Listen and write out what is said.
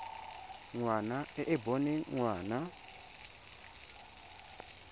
ngwana e e boneng ngwana